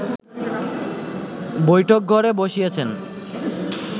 বৈঠকঘরে বসিয়েছেন